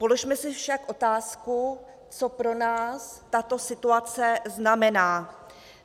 Položme si však otázku, co pro nás tato situace znamená.